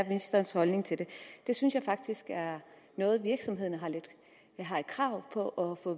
ministerens holdning til det det synes jeg faktisk er noget virksomhederne har krav på at få